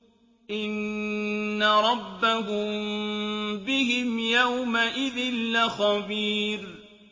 إِنَّ رَبَّهُم بِهِمْ يَوْمَئِذٍ لَّخَبِيرٌ